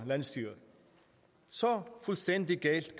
så